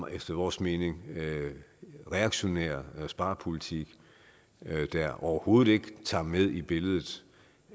efter vores mening reaktionær sparepolitik der overhovedet ikke tager med i billedet